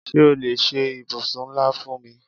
Ṣé o lè ṣe ibùsùn ńlá fún mi?